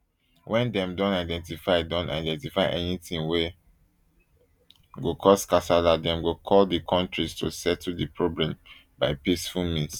wen dem don identify don identify anytin wey go cause kasala dem go call di kontris to settle di problem by peaceful means